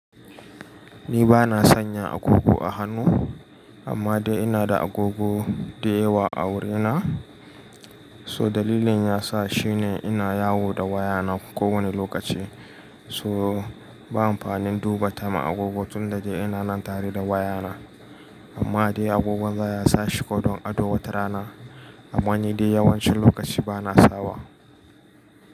Ni ba na sanya agogo a hannu, amma dai ina da agogo da yawa a wurina. So dalilin ya sa shine ina yawo da wayana kowane lokaci, so ba amfanin duba time a agogo tunda dai ina nan tare da wayana. Amma dai agogon za ya sa shi ko don ado wata rana, amma ni dai yawanci lokaci ba na sawa.